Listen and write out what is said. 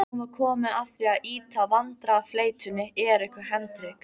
Nú var komið að því að ýta vandræðafleytunni Eriku Hendrik